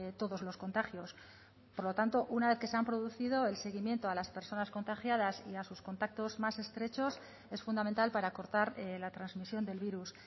todos los contagios por lo tanto una vez que se han producido el seguimiento a las personas contagiadas y a sus contactos más estrechos es fundamental para cortar la transmisión del virus